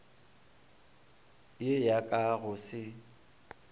ye ya ka go se